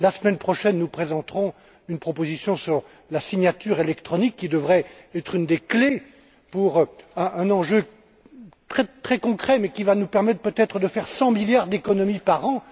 La semaine prochaine, nous présenterons une proposition sur la signature électronique, qui devrait être une des clés pour un enjeu très concret et qui va nous permettre, peut être, de faire 100 milliards d'économies par an.